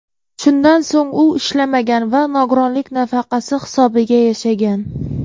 Shundan so‘ng u ishlamagan va nogironlik nafaqasi hisobiga yashagan.